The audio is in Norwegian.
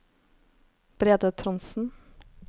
Brede Trondsen